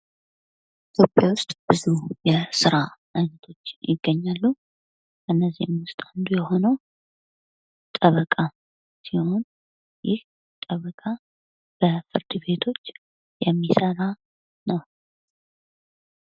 ኢትዮጵያ ውስጥ ብዙ የስራ አይነቶች ይገኛሉ። ከነዚህም ውስጥ አንዱ የሆነው ጠበቃ ሲሆን ይህ ጠበቃ በፍርድ ቤቶች የሚሰራ ነው።